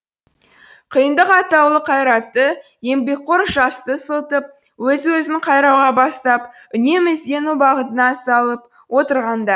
қиындық атаулы қайратты еңбекқор жасты ысылтып өз өзін қайрауға бастап үнемі іздену бағытына салып отырғанда